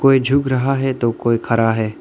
कोई झुक रहा है तो कोई खरा है।